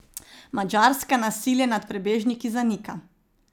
Madžarska nasilje nad prebežniki zanika.